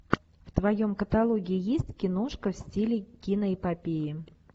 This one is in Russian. в твоем каталоге есть киношка в стиле киноэпопеи